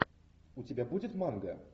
у тебя будет манга